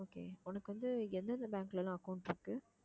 உனக்கு வந்து எந்தெந்த bank ல எல்லாம் account இருக்கு